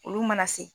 Olu mana se